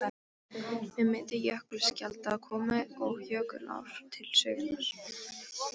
Með myndun jökulskjalda komu og jökulár til sögunnar.